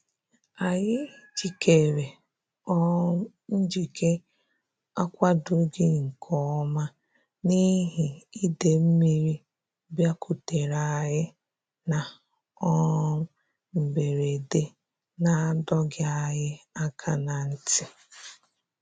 Anyị jikere um njike a kwadoghị nke ọma n'ihi ide mmiri bịakutere anyị na um mberede na-adọghị anyị aka na ntị